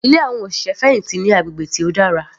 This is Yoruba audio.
Ilé àwọn òṣìṣẹ́ fẹ̀hìntì ní agbègbè tí ó dára.